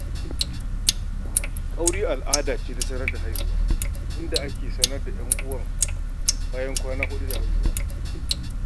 Ƙauri al'ada ce ta sanar da haihuwa, inda ake raba wa 'yan uwan bayan kwana huɗu da haihuwa.